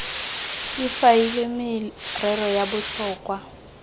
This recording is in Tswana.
se faeliwe merero ya botlhokwa